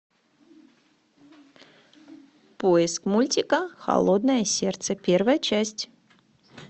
поиск мультика холодное сердце первая часть